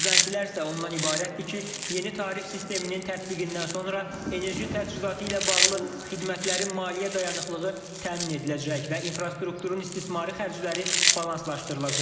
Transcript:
Gözləntilər isə ondan ibarətdir ki, yeni tarif sisteminin tətbiqindən sonra enerji təchizatı ilə bağlı xidmətlərin maliyyə dayanıqlığı təmin ediləcək və infrastrukturun istismarı xərcləri balanslaşdırılacaq.